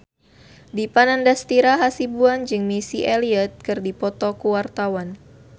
Dipa Nandastyra Hasibuan jeung Missy Elliott keur dipoto ku wartawan